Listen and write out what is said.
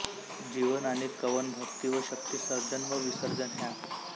जीवन आणि कवन भक्ती व शक्ती सर्जन व विसर्जन ह्या